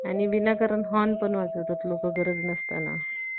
आणि विनाकारण Horn पण वाजवतात लोक गरज नसताना